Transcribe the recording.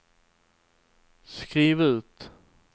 skriv ut